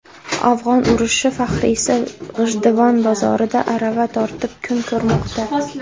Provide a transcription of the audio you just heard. Afg‘on urushi faxriysi G‘ijduvon bozorida arava tortib kun ko‘rmoqda.